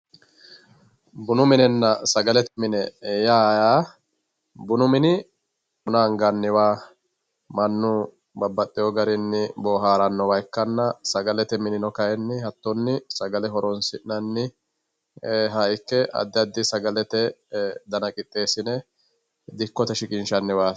bunu minenna sagalete mini yaa yaa bunu mini buna anganniwa mannu babbaxxewoo garinni boohaarannowa ikkanna sagalete minino kayiinni hattonni sagalete horoonsi'nanniha ikke addi addiha sagalete dana qixxeessine dikkote shiqinshanniwaati